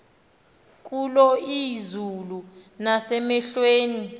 kulo izulu nasemehlweni